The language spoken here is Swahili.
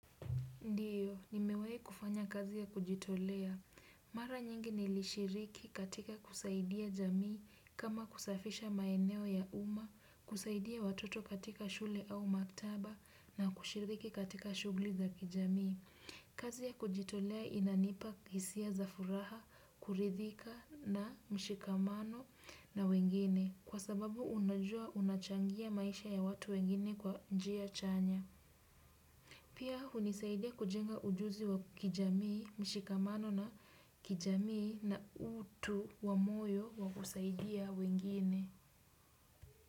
Ndiyo, nimewai kufanya kazi ya kujitolea. Mara nyingi nilishiriki katika kusaidia jamii kama kusafisha maeneo ya uma, kusaidia watoto katika shule au maktaba na kushiriki katika shugli za kijamii. Kazi ya kujitolea inanipa hisia za furaha, kuridhika na mshikamano na wengine kwa sababu unajua unachangia maisha ya watu wengine kwa njia chanya. Pia hunisaidia kujenga ujuzi wa kijamii, mshikamano na kijamii na utu wa moyo wa kusaidia wengine.